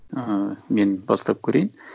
ыыы мен бастап көрейін